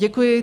Děkuji.